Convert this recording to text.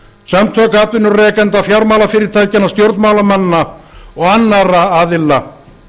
samtök atvinnurekenda og fjármálafyrirtækjanna stjórnmálamanna og annarra aðila